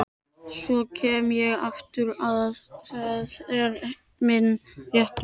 Svo kem ég aftur, það er minn réttur.